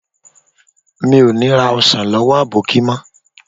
Mi ò ní ra ọsàn lọ́wọ́ àwọn àbókí mọ́